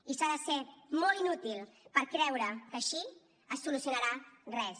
i s’ha de ser molt inútil per creure que així es solucionarà res